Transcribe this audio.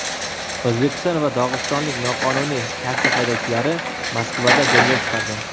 O‘zbekiston va dog‘istonlik noqonuniy taksi haydovchilari Moskvada janjal chiqardi.